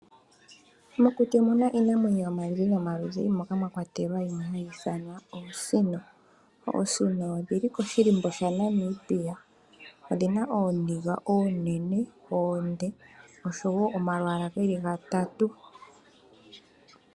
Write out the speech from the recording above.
Mokuti omu na iinamwenyo yomaludhi nomaludhi, moka mwa kwatelwa yimwe hayi ithanwa oosino. Oosino odhi li koshihako shaNamibia. Oosino odhi na ooniga oonene oonde, noshowo omalwaala ge li gatatu.